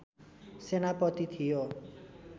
सेनापति थियो